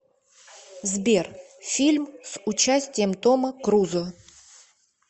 сбер фильм с участием тома крузо